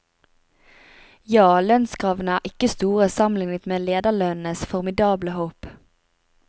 Ja, lønnskravene er ikke store sammenlignet med lederlønnenes formidable hopp.